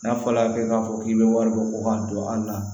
N'a fɔla k'a fɔ k'i bɛ wari bɔ k'a don an na